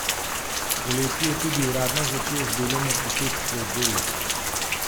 Poleti je tudi uradno začel z delom ortopedski oddelek.